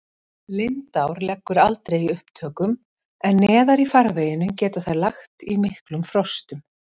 Lindár leggur aldrei í upptökum en neðar í farveginum getur þær lagt í miklum frostum.